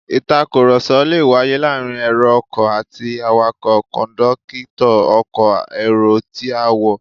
Ìtàkùrọ̀sọ lè wáyé láàárín èrò ọkọ̀ àti awakọ̀, kọ̀ńdọ́kítọ̀ ọkọ̀ èrò tí a, wọ́